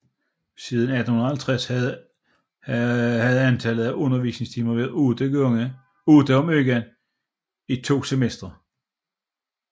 Siden 1850 havde antallet af undervisningstimer været otte om ugen i to semestre